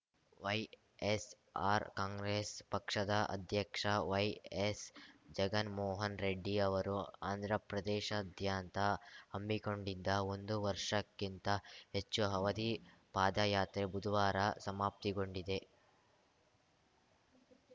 YSR Congress ಪಕ್ಷದ ಅಧ್ಯಕ್ಷ ವೈಎಸ್‌ ಜಗನ್‌ಮೋಹನ್‌ ರೆಡ್ಡಿ ಅವರು ಆಂಧ್ರಪ್ರದೇಶದ್ಯಂತ ಹಮ್ಮಿಕೊಂಡಿದ್ದ ಒಂದು ವರ್ಷಕ್ಕಿಂತ ಹೆಚ್ಚು ಅವಧಿ ಪಾದಯಾತ್ರೆ ಬುಧುವಾರ ಸಮಾಪ್ತಿಗೊಂಡಿದೆ